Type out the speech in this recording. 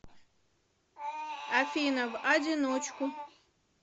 афина в одиночку